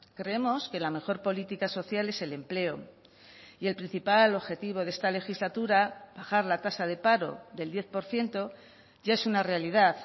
creemos que la mejor política social es el empleo y el principal objetivo de esta legislatura bajar la tasa de paro del diez por ciento ya es una realidad